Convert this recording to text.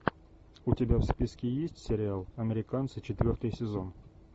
у тебя в списке есть сериал американцы четвертый сезон